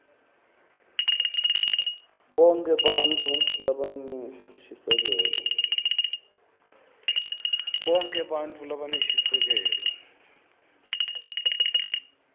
bonkhe bantfu labanenshisekelo